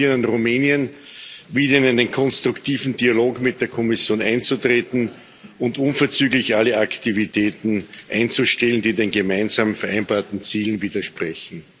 Wir appellieren an Rumänien, wieder in einen konstruktiven Dialog mit der Kommission einzutreten und unverzüglich alle Aktivitäten einzustellen, die den gemeinsam vereinbarten Zielen widersprechen.